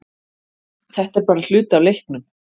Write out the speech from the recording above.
Þetta er bara hluti af leiknum